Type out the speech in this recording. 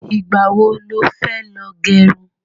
Ìgbà wo lo fẹ́ lọ gẹrun?